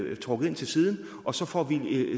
vedkommende ind til siden og så får vi